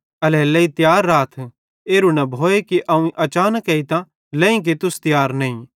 एल्हेरेलेइ तियार राथ एरू न भोए कि अवं अचानक एइतां लेईं कि तुस तियार नईं